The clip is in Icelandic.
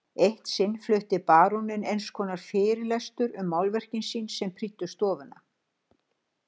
Eitt sinn flutti baróninn einskonar fyrirlestur um málverkin sín sem prýddu stofuna.